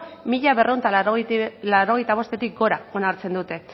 mila berrehun eta laurogeita bostetik gora onartzen dute